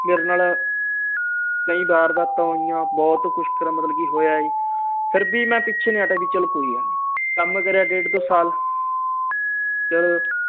ਮੇਰੇ ਨਾਲ ਕਈ ਵਾਰਦਾਤਾਂ ਹੋਈਆਂ ਬਹੁਤ ਕੁਝ ਹੋਇਆ ਜੀ ਫਿਰ ਵੀ ਮੈਂ ਪਿੱਛੇ ਨਹੀਂ ਹਟਿਆ ਕੇ ਚਲ ਕੋਈ ਗੱਲ ਨਹੀਂ ਕੰਮ ਕਰਿਆ ਡੇਢ ਦੋ ਸਾਲ ਚਲੋ